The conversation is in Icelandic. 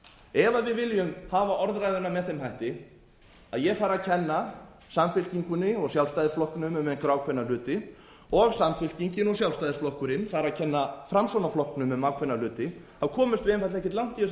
ef við viljum hafa orðræðuna með þeim hætti að ég fari að kenna samfylkingunni og sjálfstæðisflokknum um einhverja ákveðna hluti og samfylkingin og sjálfstæðisflokkurinn fara að kenna framsóknarflokknum um ákveðna hluti komumst við einfaldlega ekkert langt í þessari umræðu og